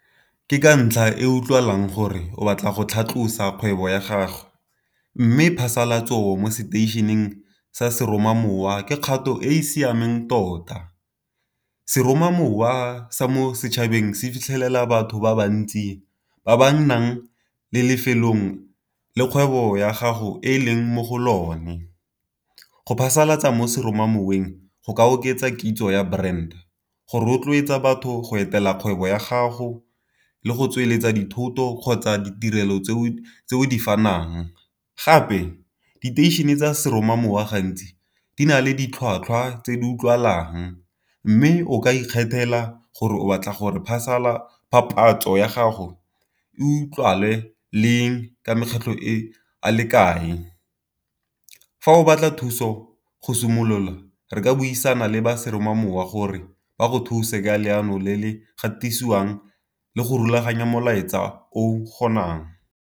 Ke ka ntlha e utlwalang gore o batla go tlhatlosiwa kgwebo ya gago, mme phasalatso mo seteišeneng sa seromamowa ke kgato e e siameng tota. Seromamowa sa mo setšhabeng se fitlhelela batho ba ba ntsi, ba ba nnang le lefelong le kgwebo ya gago e leng mo go lone. Go phasalatsa mo seromamoweng go ka oketsa kitso ya brand, go rotloetsa batho go etela kgwebo ya gago le go tsweletsa dithoto kgotsa ditirelo tse o di fanang. Gape diteišene tsa seromamowa gantsi di na le ditlhwatlhwa tse di utlwalang, mme o ka ikgethela gore o batla gore papatso ya gago e utlwagale leng ka makgetlho a le kae. Fa o batla thuso go simolola re ka buisana le ba seromamowa gore ba go thuse ka leano le le gatisiwang le go rulaganya molaetsa o kgonang.